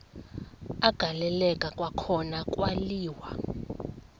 agaleleka kwakhona kwaliwa